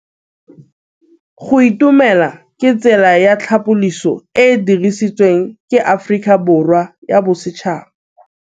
Go itumela ke tsela ya tlhapolisô e e dirisitsweng ke Aforika Borwa ya Bosetšhaba.